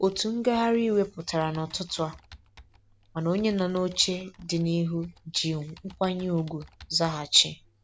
Otu ngagharị iwe pụtara n'ụtụtụ a, mana onye nọ n'oche dị n'ihu ji nkwanye ugwu zaghachi.